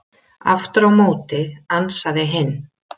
Aftur á móti ansaði hinn: